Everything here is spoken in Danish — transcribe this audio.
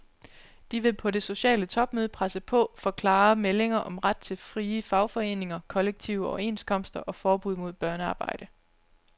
De vil på det sociale topmøde presse på for klare meldinger om ret til frie fagforeninger, kollektive overenskomster og forbud mod børnearbejde.